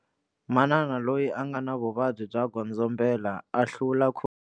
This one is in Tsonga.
Manana loyi a nga na vuvabyi byo godzombela a hlula.